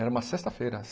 Era uma sexta-feira.